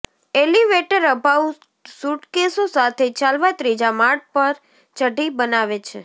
elevator અભાવ સુટકેસો સાથે ચાલવા ત્રીજા માળ પર ચઢી બનાવે છે